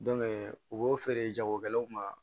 u b'o feere jagokɛlaw ma